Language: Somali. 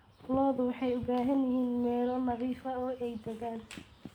Lo'du waxay u baahan yihiin meelo nadiif ah oo ay daaqaan.